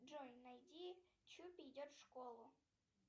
джой найди чупи идет в школу